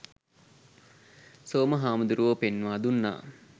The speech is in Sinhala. සෝම හාමුදුරුවෝ පෙන්වා දුන්නා.